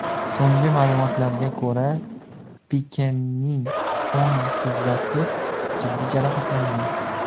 So‘nggi ma’lumotlarga ko‘ra, Pikening o‘ng tizzasi jiddiy jarohatlangan .